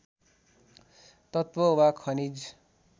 तत्त्व वा खनिज